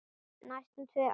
Næstum tvö ár!